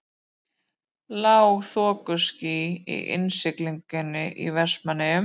Lág þokuský í innsiglingunni í Vestmannaeyjum.